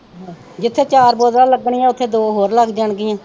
ਜਿਥੇ ਚਾਰ ਬੋਤਲਾਂ ਲੱਗਣੀਆਂ ਉੱਥੇ ਦੋ ਹੋਰ ਲੱਗ ਜਾਣਗੀਆ।